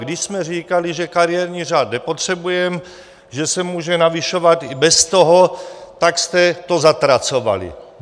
Když jsme říkali, že kariérní řád nepotřebujeme, že se může navyšovat i bez toho, tak jste to zatracovali.